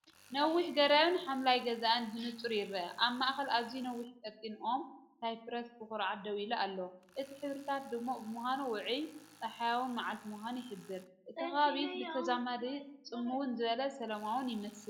ነዊሕ ገረብን ሓምላይ ገዛን ብንጹር ይርአ። ኣብ ማእከል ኣዝዩ ነዊሕን ቀጢንን ኦም ሳይፕረስ ብኹርዓት ደው ኢሉ ኣሎ። እቲ ሕብርታት ድሙቕ ብምዃኑ ውዑይን ጸሓያውን መዓልቲ ምዃኑ ይሕብር። እቲ ከባቢ ብተዛማዲ ጽምው ዝበለን ሰላማውን ይመስል።